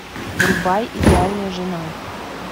врубай идеальная жена